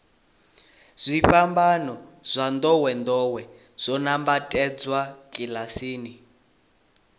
zwifanyiso zwa ndowendowe zwo nambatsedzwa kilasini